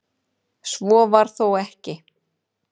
Svo var þó ekki.